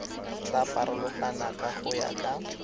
tla farologana go ya ka